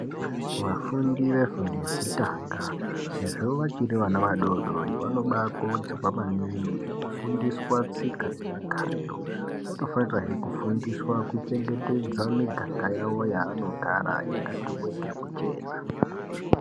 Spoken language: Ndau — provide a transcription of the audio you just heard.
Vafundi vefundo yekutanga sezvo vachiri vana vadodori vanobakudzwa maningi kufundiswa tsika nemagariro vanofanirwa hee kufundiswa kuchengetedza miganga yavo yavanogara yakati weke kuchena.